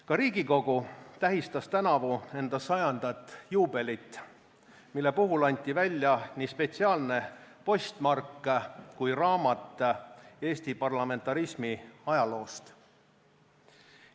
Ka Riigikogu tähistas tänavu enda 100. aasta juubelit, mille puhul anti välja nii spetsiaalne postmark kui ka raamat Eesti parlamentarismi ajaloost.